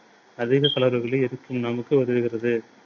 அதிக calorie களை எடுக்கும் நமக்கு உதவுகிறது.